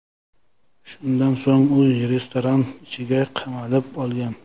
Shundan so‘ng u restoran ichiga qamalib olgan.